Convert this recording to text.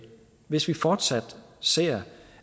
hvis vi fortsat ser